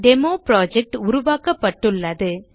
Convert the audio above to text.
demo project உருவாக்கப்பட்டுள்ளது